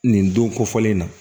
Nin don ko fɔlen in na